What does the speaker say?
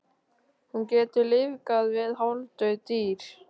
Hún getur lífgað við hálfdauð dýr.